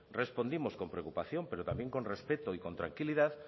respondimos con preocupación pero también con respeto y con tranquilidad